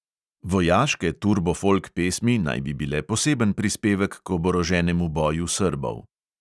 Vojaške turbo folk pesmi naj bi bile poseben prispevek k oboroženemu boju srbov.